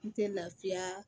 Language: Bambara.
N tɛ lafiya